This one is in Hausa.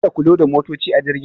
Ka da ku loda motaci a jirgin.